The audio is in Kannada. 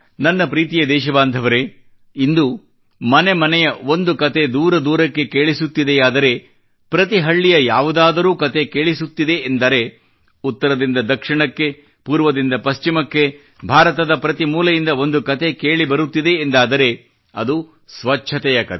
ನನ್ನ ಪ್ರೀತಿಯ ದೇಶಬಾಂಧವರೇ ಇಂದು ಮನೆ ಮನೆಯ ಒಂದು ಕತೆ ದೂರ ದೂರಕ್ಕೆ ಕೇಳಿಸುತ್ತಿದೆಯಾದರೆ ಪ್ರತಿ ಹಳ್ಳಿಯ ಯಾವುದಾದರೂ ಕತೆ ಕೇಳಿಸುತ್ತಿದೆ ಎಂದರೆ ಉತ್ತರದಿಂದ ದಕ್ಷಿಣಕ್ಕೆ ಪೂರ್ವದಿಂದ ಪಶ್ಚಿಮಕ್ಕೆ ಭಾರತದ ಪ್ರತಿ ಮೂಲೆಯಿಂದ ಒಂದು ಕತೆ ಕೇಳಿ ಬರುತ್ತಿದೆ ಎಂದಾದರೆ ಅದು ಸ್ವಚ್ಛತೆಯ ಕತೆ